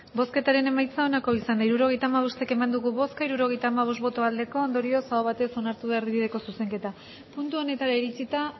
hirurogeita hamabost eman dugu bozka hirurogeita hamabost bai ondorioz aho batez onartu da erdibideko zuzenketa puntu honetara iritsita